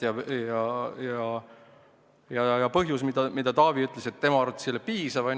Ja on veel üks põhjus, mille kohta Taavi ütles, et tema arvates ei ole see piisav.